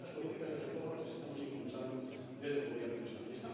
Por tanto, las políticas de retorno las estamos impulsando desde el Gobierno de España.